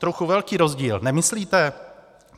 Trochu velký rozdíl, nemyslíte?